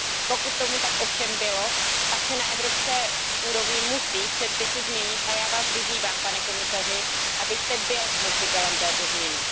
Pokud tomu tak ovšem bylo, pak se na evropské úrovni musí předpisy změnit. Já vás vyzývám, pane komisaři, abyste byl nositelem této změny.